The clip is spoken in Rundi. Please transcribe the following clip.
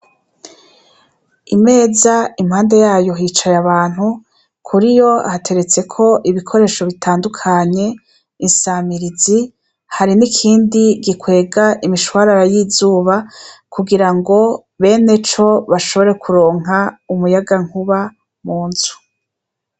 Imeza impande yayo hicaye abantu, kuri yo hateretseko ibikoresho bitandukanye, insamirizi hari n'ikindi gikwega imishwarara y'izuba kugira ngo beneco bashobore kuronka umuyagankuba mu nzu .